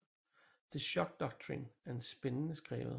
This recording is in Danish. The Shock Doctrine er spændende skrevet